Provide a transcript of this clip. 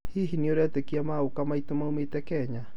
hihi nĩũretĩkia maguka maitũ maũmĩte Kenya?